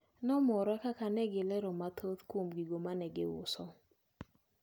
Nomora kaka negilero mathoth kuom gigo manegiuso.